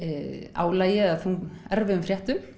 álagi eða erfiðum fréttum